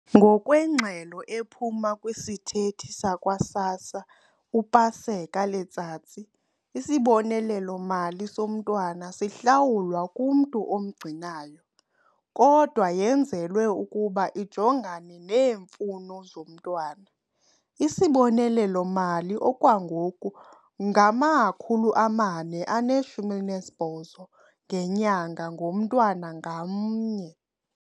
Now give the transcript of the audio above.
Ngokwengxelo ephuma kwisithethi sakwa-SASSA uPaseka Letsatsi, isibonelelo-mali somntwana sihlawulwa kumntu omgcinayo, kodwa yenzelwe ukuba ijongane neemfuno zomntwana. Isibonelelo-mali okwangoku ngama-R480 ngenyanga ngomntwana ngamnye.